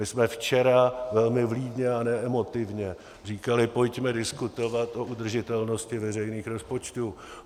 My jsme včera, velmi vlídně a ne emotivně, říkali: Pojďme diskutovat o udržitelnosti veřejných rozpočtů.